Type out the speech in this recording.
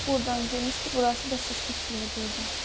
Burdan girmişdi, burası da şişmişdi elə burdan.